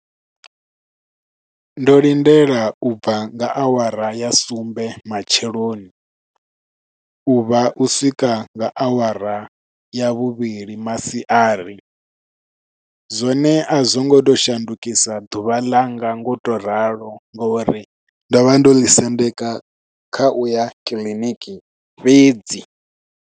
Ndo lindela ubva nga awara ya sumbe matsheloni, u vha u swika nga awara ya vhuvhili masiari. Zwone a zwongo to shandukisa ḓuvha langa ngo to ralo, ngo uri ndo vha ndo ḽi sendeka kha uya kiḽiniki fhedzi.